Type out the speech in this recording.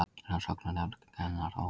Rannsóknarnefnd kannar óhappið